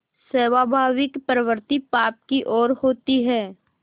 स्वाभाविक प्रवृत्ति पाप की ओर होती है